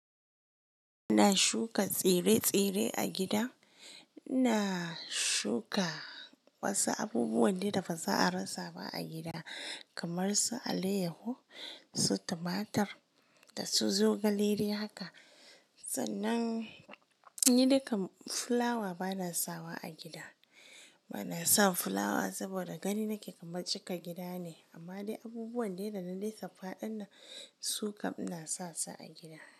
Ina shuka tsire-tsire a gida. Ina shuka wasu abubuwan da ba za a rasa ba a gida kamar su alayyahu, su tumatur da su zogale dai haka. Tsanan ni dukan fulawa ba na sawa a gida. Ba na son fulawa saboda gani nake kaman cika gida ne amma dai abubuwan dai da na dai lissaffaɗin nan sukam ina sasu a gida.